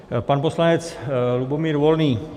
Pan poslanec Lubomír Volný.